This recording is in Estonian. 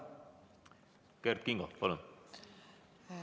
Kert Kingo, palun!